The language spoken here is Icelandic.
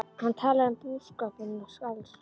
Hann talaði um búskapinn og skáldskap